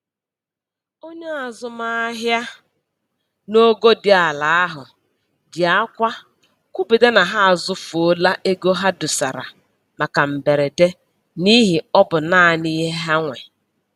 Onye azụmahịa n'ogo dị ala ahụ ji akwa kwuputa na ha azụfuola ego ha dosara maka mberede n'ihi ọ bụ naanị ihe ha nwe